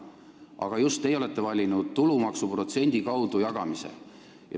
–, aga just teie olete valinud tulumaksu protsendi kaudu jagamise.